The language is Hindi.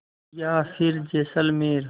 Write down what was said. या फिर जैसलमेर